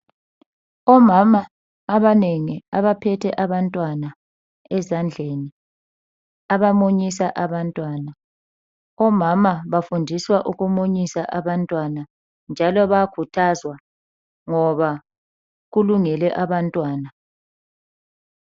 Omama abanengi abaphethe abantwana ezandleni abamunyisa abantwana. Omama bafundiswa ukumunyisa abantwana njalo bayakhuthazwa ngoba kulungele abantwana